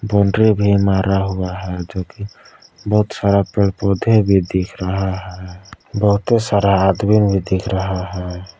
Boundary भी मारा हुआ है जो कि बहुत सारा पेड़ पौधे भी दिख रहा है बहुते सारा आदमी भी दिख रहा है।